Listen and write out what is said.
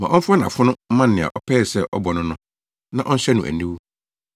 Ma ɔmfa nʼafono mma nea ɔpɛɛ sɛ ɔbɔ no no na ɔnhyɛ no aniwu.